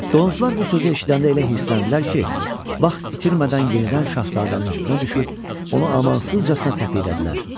Donuzlar bu sözü eşidəndə elə hirsləndilər ki, vaxt itirmədən yenidən şahzadənin üstünə düşüb onu amansızcasına təpiklədilər.